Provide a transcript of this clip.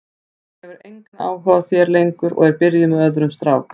Hún hefur engan áhuga á þér lengur og er byrjuð með öðrum strák.